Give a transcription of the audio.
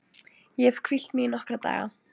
Ég hefi hvílt mig í nokkra daga.